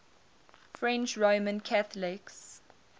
french roman catholics